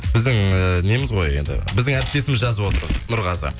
біздің і неміз ғой енді біздің әріптесіміз жазып отыр нұрғазы